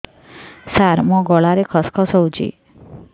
ସାର ମୋ ଗଳାରେ ଖସ ଖସ ହଉଚି